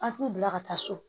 An t'i bila ka taa so